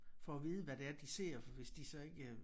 Få at vide hvad det er de ser for hvis de så ikke